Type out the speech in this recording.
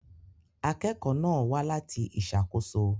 Akẹ́kọ̀ọ́ náà wá láti ìṣàkóso.